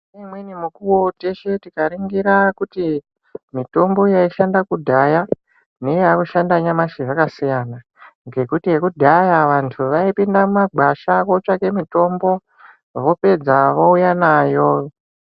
Ngemweni mikuwo teshe tikaringira kuti mitombo yaishanda kudhaya, neyaakushanda nyamashi zvakasiyana. Ngekuti yekudhaya vantu vaipinda mumagwasha kootsvake mitombo, vopedza vouya nayo.